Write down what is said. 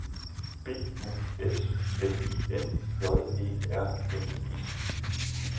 B U S L I N J E R N E